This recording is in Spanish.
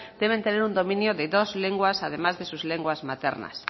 deben tener un dominio de dos lenguas además de sus lenguas maternas